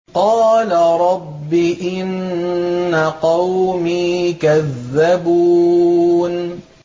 قَالَ رَبِّ إِنَّ قَوْمِي كَذَّبُونِ